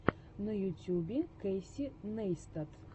на ютьюбе кэйси нейстат